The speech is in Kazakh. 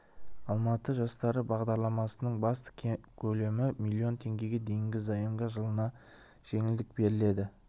алматы жастары бағдарламасының басты ерекшелігі пайыздық төлемнің төмендігінде көлемі миллион теңгеге дейінгі заемға жылына жеңілдік беріледі